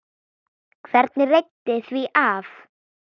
Hvernig reiddi því af?